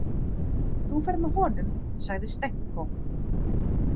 Þú ferð með honum, sagði Stenko.